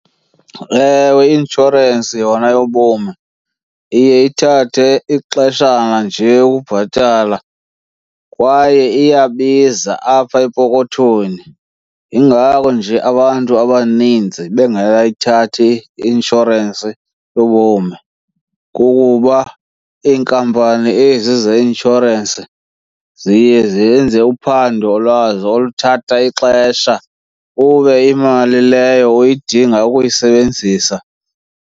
Ewe, i-inshorensi yona yobomi iye ithathe ixeshana nje ukubhatala kwaye iyabiza apha epokothweni. Yingako nje abantu abaninzi bengakayithathi i-inshorensi yobomi, kukuba iinkampani ezi zeinshorensi ziye zenze uphando lwazo oluthatha ixesha ube imali leyo uyidinga ukuyisebenzisa.